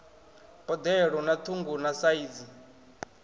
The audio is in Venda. boḓelo na ṱhungu na saizi